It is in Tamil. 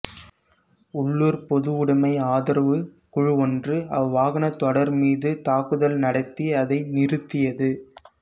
உள்ளூர் பொதுவுடமை ஆதரவுக் குழு ஒன்று அவ்வாகனத் தொடர்மீது தாக்குதல் நடத்தி அதை நிறுத்தியது